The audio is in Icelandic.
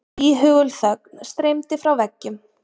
Íhugul þögn streymdi frá veggjum.